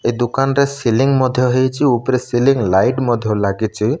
ଏଇ ଦୁକାନଟା ସିଲିଂ ମଧ୍ୟ ହେଇଚି ଉପରେ ସିଲିଂ ଲାଇଟ ମଧ୍ୟ ଲାଗିଚି ।